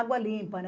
Água limpa, né?